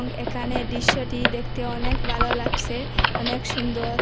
এখানে দৃশ্যটি দেখতে অনেক ভালো লাগসে অনেক সুন্দর।